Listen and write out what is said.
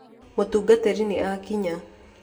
Mutungatiri ni akinya